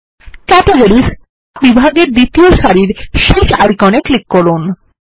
categories বিভাগের দ্বিতীয় সারির শেষ আইকন এ ক্লিক করুন